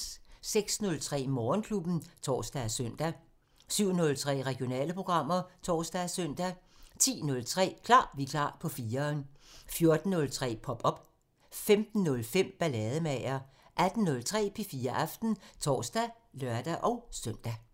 06:03: Morgenklubben (tor og søn) 07:03: Regionale programmer (tor og søn) 10:03: Klar Vikar på 4'eren 14:03: Pop op 15:05: Ballademager 18:03: P4 Aften (tor og lør-søn)